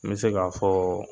I be se ka fɔɔ